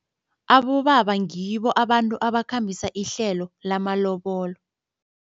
Abobaba ngibo abantu abakhambisa ihlelo lamalobolo.